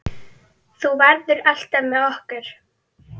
Þú verður alltaf með okkur.